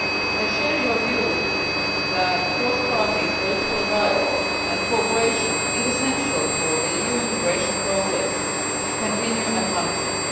I share your views that cross party political dialogue and cooperation is essential for the EU integration process to continue advancing.